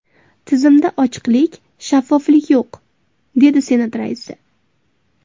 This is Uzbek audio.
Tizimda ochiqlik, shaffoflik yo‘q”, dedi Senat raisi.